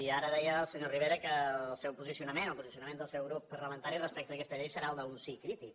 i ara deia el senyor rivera que el seu posicionament el posicionament del seu grup parlamentari respecte d’aquesta llei serà el d’un sí crític